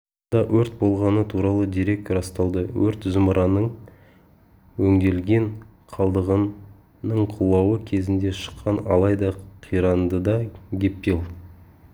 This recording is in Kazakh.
далада өрт болғаны туралы дерек расталды өрт зымыранның өңделген қалдығының құлауы кезінде шыққан алайда қирандыда гептил